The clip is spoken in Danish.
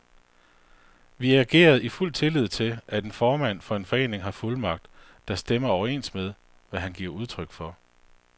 Vi agerede i fuld tillid til, at en formand for en forening har fuldmagt, der stemmer overens med, hvad han giver udtryk for.